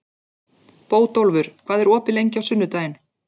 Bótólfur, hvað er opið lengi á sunnudaginn?